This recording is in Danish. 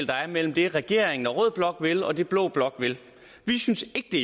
der er mellem det regeringen og rød blok vil og det blå blok vil vi synes ikke det